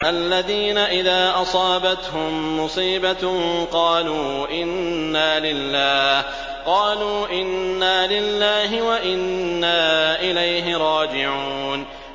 الَّذِينَ إِذَا أَصَابَتْهُم مُّصِيبَةٌ قَالُوا إِنَّا لِلَّهِ وَإِنَّا إِلَيْهِ رَاجِعُونَ